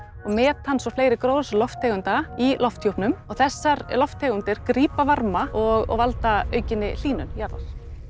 metans og fleiri gróðurhúsalofttegunda í lofthjúpnum og þessar lofttegundir grípa varma og valda aukinni hlýnun jarðar